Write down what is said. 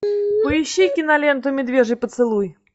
поищи киноленту медвежий поцелуй